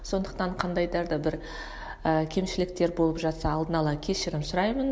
сондықтан да бір ііі кемшіліктер болып жатса алдын ала кешірім сұраймын